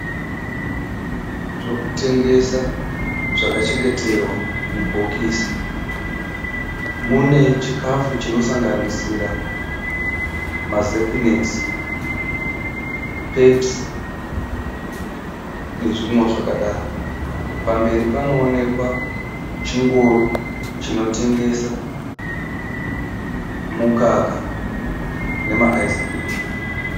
Zvokutengesa zvakachengeterwa mubhokisi. Mune chikafu chinosanganisira mazepinekisi, pepisi nezvimwe zvakadaro. Pamberi panoonekwa chingoro chinotengesa mukaka nema (ice cream)